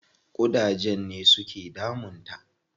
Ƙudajen ne su ke damun ta.